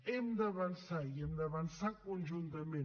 hem d’avançar i hem d’avançar conjuntament